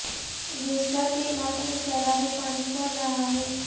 Worcester کے علاقے میں سیلابی پانی چڑھ رہا ہے